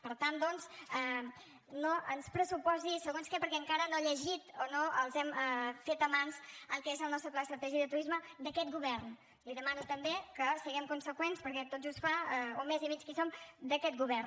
per tant doncs no ens pressuposi segons què perquè encara no ha llegit o no els hem fet a mans el que és el nostre pla estratègic de turisme d’aquest govern li demano també que siguem conseqüents perquè tot just fa un mes i mig que hi som d’aquest govern